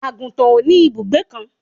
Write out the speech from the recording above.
àgùntàn ò ní ìbùgbé kan